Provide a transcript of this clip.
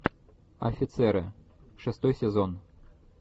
офицеры шестой сезон